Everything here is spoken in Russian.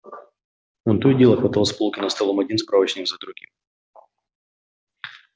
он то и дело хватал с полки над столом один справочник за другим